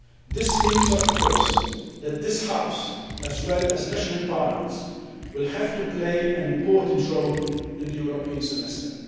This means of course that this House, as well as national parliaments, will have to play an important role in the European Semester.